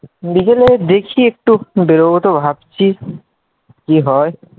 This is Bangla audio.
বিকেলে দেখি একটূ বেরোব তো ভাবছি, কি হয়?